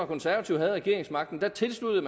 konservative havde regeringsmagten tilsluttede